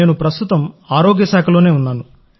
నేను ప్రస్తుతం ఆరోగ్యశాఖలో ఉన్నాను